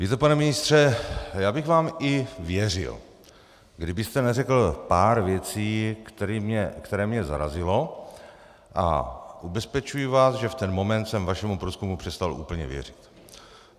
Víte, pane ministře, já bych vám i věřil, kdybyste neřekl pár věcí, které mě zarazily, a ubezpečuji vás, že v ten moment jsem vašemu průzkumu přestal úplně věřit.